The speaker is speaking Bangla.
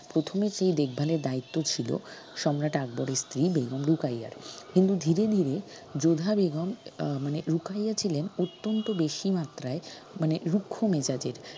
প্রথমেতে দেখভালের দ্বায়িত্ব ছিল সম্রাট আকবরের স্ত্রী বেগম রোকাইয়ার কিন্তু ধীরে ধীরে যোধা বেগম আহ মানে রোকাইয়া ছিলেন অত্যন্ত বেশি মাত্রায় মানে রুক্ষ্ম মেজাজের